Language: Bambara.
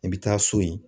I bɛ taa so yen